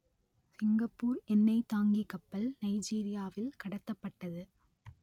Singapore எண்ணெய்த் தாங்கிக் கப்பல் நைஜீரியாவில் கடத்தப்பட்டது